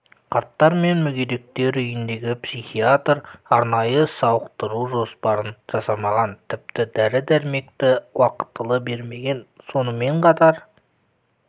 қарттар мен мүгедектер үйіндегі психиатр арнайы сауықтыру жоспарын жасамаған тіпті дәрі-дәрмекті уақытылы бермеген сонымен қатар